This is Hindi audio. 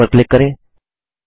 अब ओक पर क्लिक करें